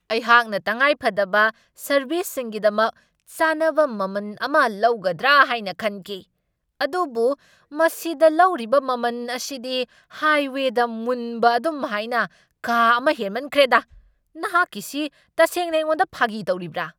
ꯑꯩꯍꯥꯛꯅ ꯇꯪꯉꯥꯏꯐꯗꯕ ꯁꯔꯕꯤꯁꯤꯡꯒꯤꯗꯃꯛ ꯆꯥꯟꯅꯕ ꯃꯃꯟ ꯑꯃ ꯂꯧꯒꯗ꯭ꯔꯥ ꯍꯥꯏꯅ ꯈꯟꯈꯤ, ꯑꯗꯨꯕꯨ ꯃꯁꯤꯗ ꯂꯧꯔꯤꯕ ꯃꯃꯟ ꯑꯁꯤꯗꯤ ꯍꯥꯏꯋꯦꯗ ꯃꯨꯟꯕ ꯑꯗꯨꯝꯍꯥꯏꯅ ꯀꯥ ꯑꯃ ꯍꯦꯟꯃꯟꯈ꯭ꯔꯦꯗꯥ ! ꯅꯍꯥꯛꯀꯤꯁꯤ ꯇꯁꯦꯡꯅ ꯑꯩꯉꯣꯟꯗ ꯐꯥꯒꯤ ꯇꯧꯔꯤꯕ꯭ꯔꯥ?